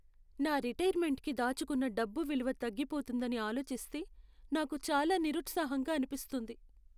నా రిటైర్మెంట్కి దాచుకున్న డబ్బు విలువ తగ్గిపోతుందని ఆలోచిస్తే నాకు చాలా నిరుత్సాహంగా అనిపిస్తుంది.